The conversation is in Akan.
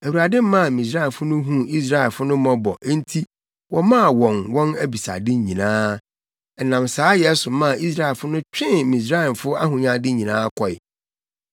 Awurade maa Misraimfo no huu Israelfo no mmɔbɔ enti wɔmaa wɔn wɔn abisade nyinaa. Ɛnam saayɛ so maa Israelfo no twee Misraimfo ahonyade nyinaa kɔe.